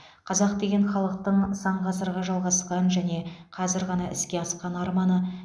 қазақ деген халықтың сан ғасырға жалғасқан және қазір ғана іске асқан арманы